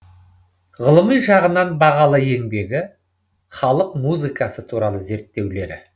ғылыми жағынан бағалы еңбегі халық музыкасы туралы зерттеулері